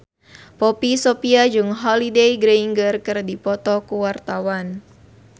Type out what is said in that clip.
Poppy Sovia jeung Holliday Grainger keur dipoto ku wartawan